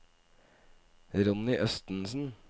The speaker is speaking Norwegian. Ronny Østensen